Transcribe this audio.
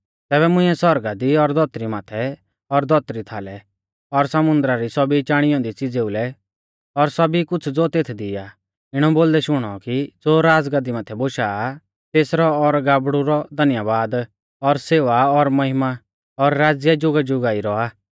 तैबै मुंइऐ सौरगा दी और धौतरी माथै और धौतरी थाल और समुन्दरा री सौभी चाणी औन्दी च़ीज़ेउ लै और सौभी कुछ़ ज़ो तेथदी आ इणौ बोलदै शुणौ कि ज़ो राज़गाद्दी माथै बोशौ आ तेसरौ और गाबड़ु रौ धन्यबाद और सेवा और महिमा और राज़्य जुगाजुगा ई रौआ